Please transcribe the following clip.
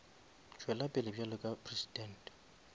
tšwela pele bjalo ka presidente